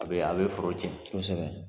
A bee a bee foro tiɲɛ. Kosɛbɛ.